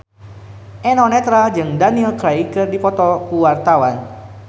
Eno Netral jeung Daniel Craig keur dipoto ku wartawan